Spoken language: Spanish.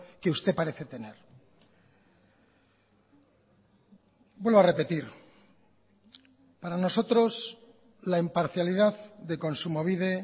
que usted parece tener vuelvo a repetir para nosotros la imparcialidad de kontsumobide